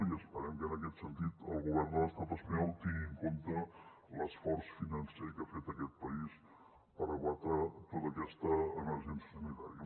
i esperem que en aquest sentit el govern de l’estat espanyol tingui en compte l’esforç financer que ha fet aquest país per combatre tota aquesta emergència sanitària